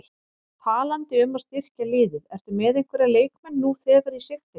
Talandi um að styrkja liðið, ertu með einhverja leikmenn nú þegar í sigtinu?